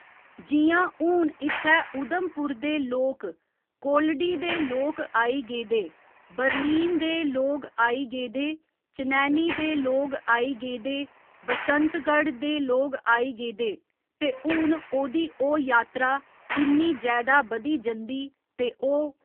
जि''यां हून इत्थै उधमपुर दे लोग, कोल्डी दे लोग आई गेदे, बरमीन दे लोग आई गेदे, चनैनी दे लोग आई गेदे, बसंतगढं दे लोग आई गेदे ते हुन ओह्दी ओह् यात्रा किन्नी जैदा बधी जंदी ते ओह्